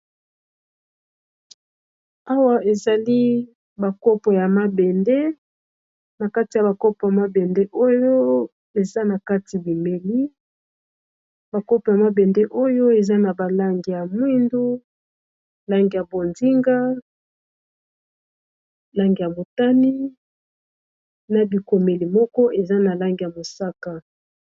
Awa ezali ba kopo ya mabende na kati ya ba kopo ya mabende oyo eza na kati bimeli ba kopo ya mabende oyo eza na ba langi ya mwindu, langi ya bonzinga, langi ya botani, na bikomeli moko eza na langi ya mosaka.